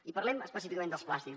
i parlem específicament dels plàstics